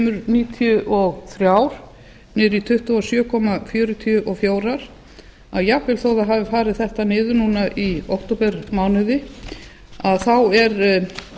tvemur níutíu og þrjár niður í tuttugu og sjö komma fjörutíu og fjórar að jafnvel þó að það hafi farið þetta niður núna í októbermánuði þá er